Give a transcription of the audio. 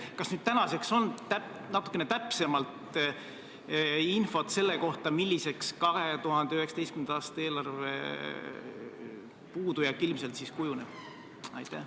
Kas tänaseks on nüüd natukene täpsemat infot selle kohta, milliseks 2019. aasta eelarve puudujääk ilmselt kujuneb?